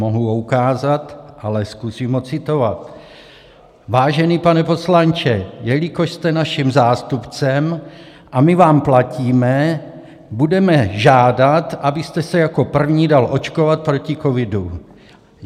Mohu ho ukázat, ale zkusím ho citovat: Vážený pane poslanče, jelikož jste naším zástupcem a my vám platíme, budeme žádat, abyste se jako první dal očkovat proti covidu.